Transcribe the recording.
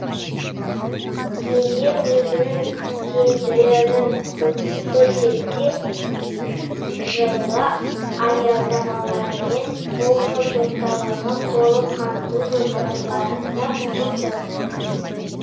егер өзінің тиімділігін көрсетсе жылы аялдамалармен облыс орталығын толық қамту жоспарланып отыр